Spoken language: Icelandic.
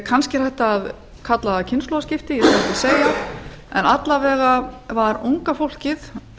kannski er þetta kallað kynslóðaskipti ég skal ekkert segja en alla vega var unga fólkið